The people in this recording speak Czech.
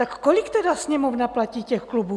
Tak kolik tedy Sněmovna platí těch klubů?